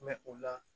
Mɛ u la